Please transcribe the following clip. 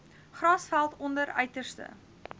grasveld onder uiterste